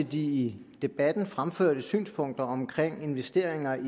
de i debatten fremførte synspunkter om investeringer i